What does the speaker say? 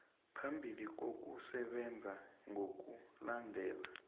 phambili ngokusebenza ngokulandela